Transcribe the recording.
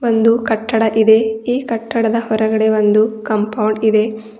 ಒಂದು ಕಟ್ಟಡ ಇದೆ ಈ ಕಟ್ಟಡದವರಿಗೆ ಕಾಂಪೌಂಡ್ ಇದೆ.